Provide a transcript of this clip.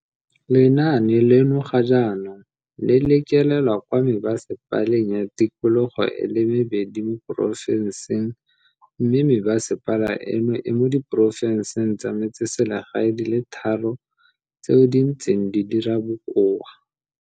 Lenaane leno ga jaanong le lekelelwa kwa mebasepa leng ya tikologo e le mebedi mo porofenseng mme me basepala eno e mo diporofenseng tsa metseselegae di le tharo tseo di ntseng di dira bokoa.